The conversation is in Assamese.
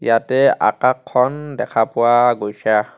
ইয়াতে আকাশ খন দেখা পোৱা গৈছে.